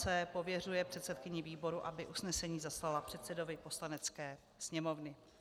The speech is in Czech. c) Pověřuje předsedkyni výboru, aby usnesení zaslala předsedovi Poslanecké sněmovny.